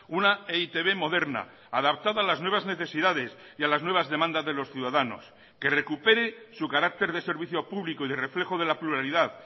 una e i te be moderna adaptada a las nuevas necesidades y a las nuevas demandas de los ciudadanos que recupere su carácter de servicio público y de reflejo de la pluralidad